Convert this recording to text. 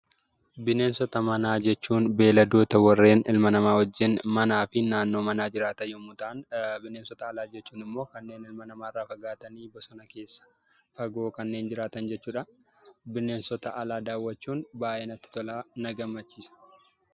Bineensota manaa jechuun beeyiladoota warreen ilma namaa wajjin manaa fi naannoo manaa jiraatan yemmuu ta'an, bineensota alaa jechuun immoo kanneen ilma namaa irraa fagaatanii bosona keessa fagoo kanneen jiraatan jechuudha. Bineensota alaa daawwaachuun baayyee natti tolaa, baayyee na gammachiisa.